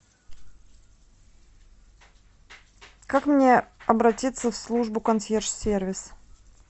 как мне обратиться в службу консьерж сервис